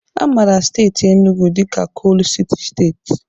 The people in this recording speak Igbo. A mara Enugwu Steeti dịka Kolu Sity Steeti.